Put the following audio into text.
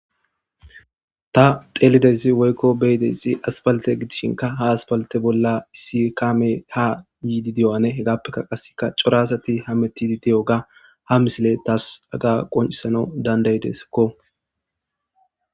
Ta dhelidaysi woyko beyidaysi asfalte gidishn ha asfalte bolla issi kameta gidida hefeka qase cora asti heametidi diyoga ha misiley tas haga qonisnaw dand'ideskko